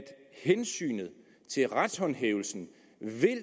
hensynet til retshåndhævelsen